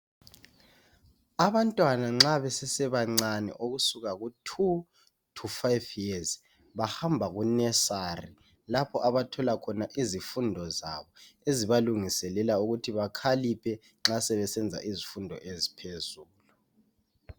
Abantwana nxa besesebancane ukusuka ku 2 to 5 years bahamba ku nursery lapho aba thola khona izifundo zabo ezibalungiselela ukuthi bakhaliphe nxa sebesenza izfundo eziphezulu.